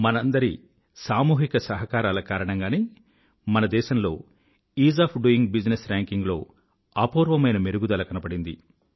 మనందరి సామూహిక సహకారాల కారణంగానే మన దేశంలో ఈజ్ ఒఎఫ్ డోయింగ్ బిజినెస్ rankingలో అపూర్వమైన మెరుగుదల కనబడింది